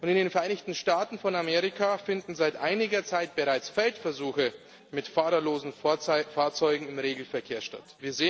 In den Vereinigten Staaten von Amerika finden seit einiger Zeit bereits Feldversuche mit fahrerlosen Fahrzeugen im Regelverkehr statt.